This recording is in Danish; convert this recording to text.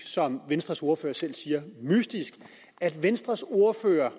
som venstres ordfører selv siger at venstres ordfører